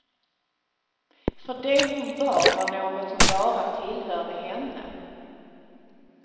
För det hon bar var något som bara tillhörde henne.